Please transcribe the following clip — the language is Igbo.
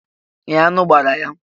Ee, aṅụ gbara ya.